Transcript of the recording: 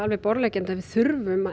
er borðleggjandi að við þurfum að